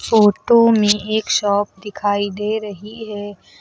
Photo में एक shop दिखाई दे रही है।